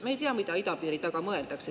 Me ei tea, mida idapiiri taga mõeldakse.